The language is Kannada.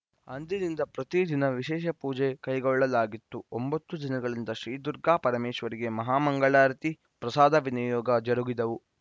ಅಂದಿನಿಂದ ಪ್ರತಿದಿನ ವಿಶೇಷ ಪೂಜೆ ಕೈಗೊಳ್ಳಲಾಗಿತ್ತು ಒಂಬತ್ತು ದಿನಗಳಿಂದ ಶ್ರೀ ದುರ್ಗಾ ಪರಮೇಶ್ವರಿಗೆ ಮಹಾಮಂಗಳಾರತಿ ಪ್ರಸಾದ ವಿನಿಯೋಗ ಜರುಗಿದವು